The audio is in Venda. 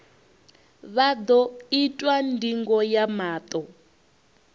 vha ḓo itwa ndingo ya maṱo